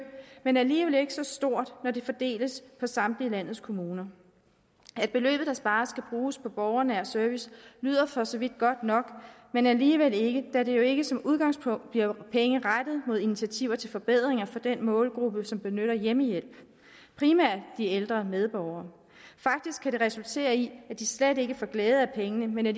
men alligevel ikke så stort når det fordeles på samtlige landets kommuner at beløbet der spares skal bruges på borgernær service lyder for så vidt godt nok men alligevel ikke da det jo ikke som udgangspunkt bliver penge rettet mod initiativer til forbedringer for den målgruppe som benytter hjemmehjælp primært de ældre medborgere faktisk kan det resultere i at de slet ikke får glæde af pengene men at